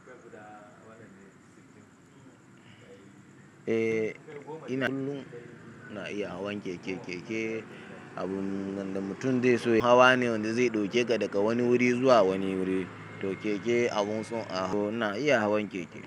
Eh ina kullum na iya hawan keke. Keke abun da mutum zai so ya yi hawa ne wanda zai ɗauke ka daga wani wuri zuwa wani wuri. To keke abun so ina iya hawan keke.